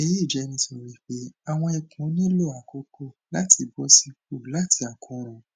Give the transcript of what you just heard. eyi jẹ nitori pe awọn ikun nilo akoko lati bọsipọ lati akoran